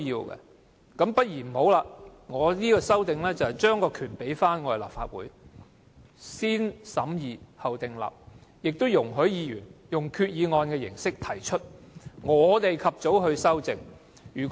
我提出這項修正案，便是把權力交回立法會，"先審議後訂立"，並且容許議員用決議案的形式提出，由我們及早修正。